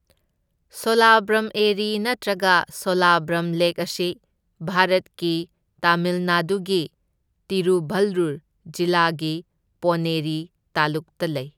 ꯁꯣꯂꯥꯕꯔꯝ ꯑꯦꯔꯤ ꯅꯠꯇ꯭ꯔꯒ ꯁꯣꯂꯥꯕꯔꯝ ꯂꯦꯛ ꯑꯁꯤ ꯚꯥꯔꯠꯀꯤ ꯇꯥꯃꯤꯜ ꯅꯥꯗꯨꯒꯤ ꯇꯤꯔꯨꯚꯜꯂꯨꯔ ꯖꯤꯂꯥꯒꯤ ꯄꯣꯟꯅꯦꯔꯤ ꯇꯥꯂꯨꯛꯇ ꯂꯩ꯫